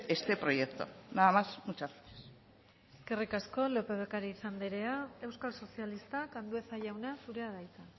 este proyecto nada más muchas gracias eskerrik asko lópez de ocariz anderea euskal sozialistak andueza jauna zurea da hitza